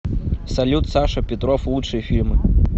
салют саша петров лучшие фильмы